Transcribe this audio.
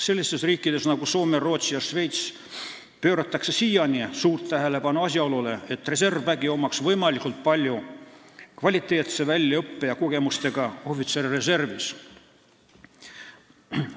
Sellistes riikides nagu Soome, Rootsi ja Šveits pööratakse siiani suurt tähelepanu asjaolule, et reservväel oleks võimalikult palju kvaliteetse väljaõppe ja kogemustega ohvitsere reservis.